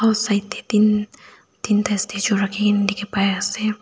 side tae tinta statue rakhina dekhi pai asa.